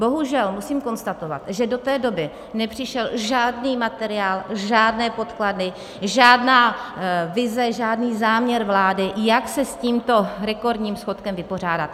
Bohužel, musím konstatovat, že do té doby nepřišel žádný materiál, žádné podklady, žádná vize, žádný záměr vlády, jak se s tímto rekordním schodkem vypořádat.